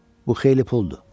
Bu xeyli puldur.